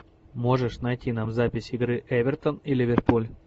можешь найти нам запись игры эвертон и ливерпуль